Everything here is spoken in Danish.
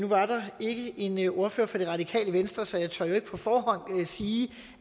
var der ikke en en ordfører fra det radikale venstre så jeg tør jo ikke på forhånd sige